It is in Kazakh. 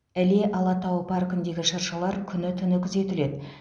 іле алатауы паркіндегі шыршалар күні түні күзетіледі